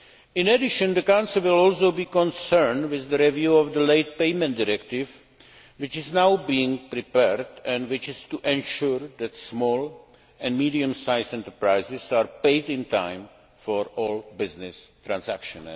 In addition, the Council will be concerned with the review of the Late Payment Directive, which is now being prepared and which is to ensure that small and medium sized enterprises are paid in time for all business transactions.